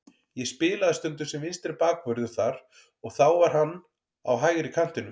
Ég spilaði stundum sem vinstri bakvörður þar og þá var hann á hægri kantinum.